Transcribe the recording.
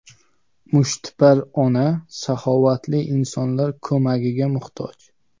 Mushtipar ona saxovatli insonlar ko‘magiga muhtoj.